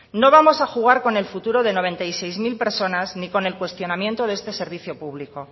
no vamos a jugar con el futuro de noventa y seis mil personas ni con el cuestionamiento de este servicio público